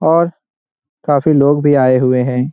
और काफी लोग भी आए हुए है।